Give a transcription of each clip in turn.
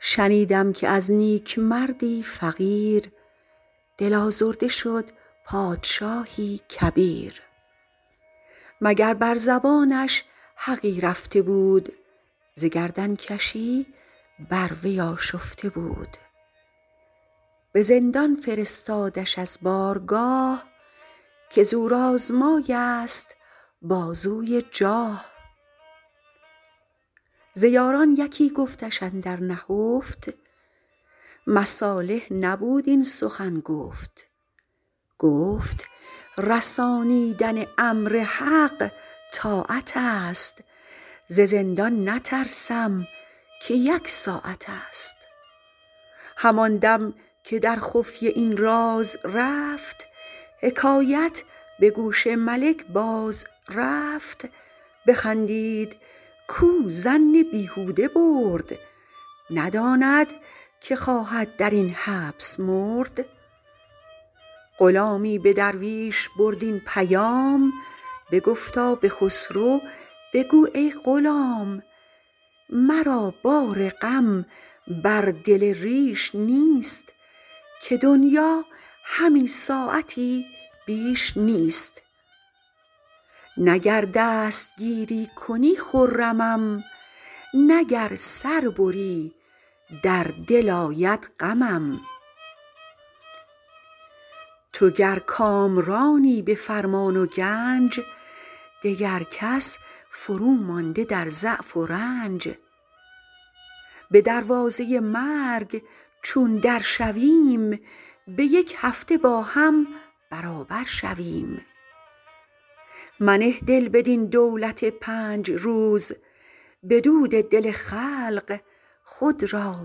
شنیدم که از نیکمردی فقیر دل آزرده شد پادشاهی کبیر مگر بر زبانش حقی رفته بود ز گردن کشی بر وی آشفته بود به زندان فرستادش از بارگاه که زورآزمای است بازوی جاه ز یاران کسی گفتش اندر نهفت مصالح نبود این سخن گفت گفت رسانیدن امر حق طاعت است ز زندان نترسم که یک ساعت است همان دم که در خفیه این راز رفت حکایت به گوش ملک باز رفت بخندید کاو ظن بیهوده برد نداند که خواهد در این حبس مرد غلامی به درویش برد این پیام بگفتا به خسرو بگو ای غلام مرا بار غم بر دل ریش نیست که دنیا همین ساعتی بیش نیست نه گر دستگیری کنی خرمم نه گر سر بری بر دل آید غمم تو گر کامرانی به فرمان و گنج دگر کس فرومانده در ضعف و رنج به دروازه مرگ چون در شویم به یک هفته با هم برابر شویم منه دل بر این دولت پنج روز به دود دل خلق خود را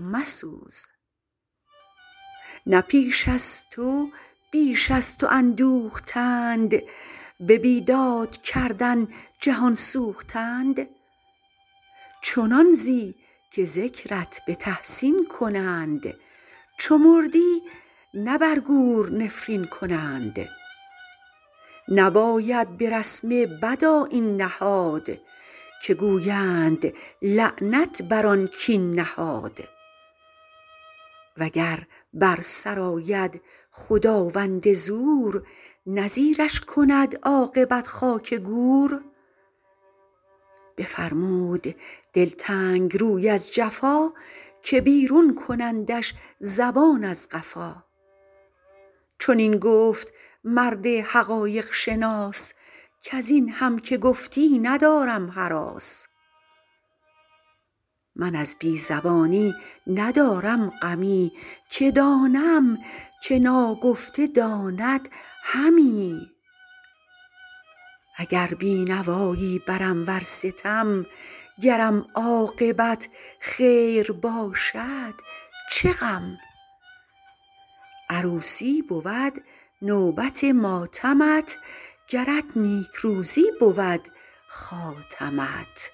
مسوز نه پیش از تو بیش از تو اندوختند به بیداد کردن جهان سوختند چنان زی که ذکرت به تحسین کنند چو مردی نه بر گور نفرین کنند نباید به رسم بد آیین نهاد که گویند لعنت بر آن کاین نهاد وگر بر سرآید خداوند زور نه زیرش کند عاقبت خاک گور بفرمود دلتنگ روی از جفا که بیرون کنندش زبان از قفا چنین گفت مرد حقایق شناس کز این هم که گفتی ندارم هراس من از بی زبانی ندارم غمی که دانم که ناگفته داند همی اگر بینوایی برم ور ستم گرم عاقبت خیر باشد چه غم عروسی بود نوبت ماتمت گرت نیکروزی بود خاتمت